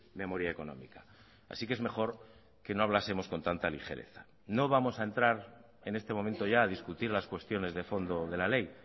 memoria económica así que es mejor que no hablásemos con tanta ligereza no vamos a entrar en este momento ya a discutir las cuestiones de fondo de la ley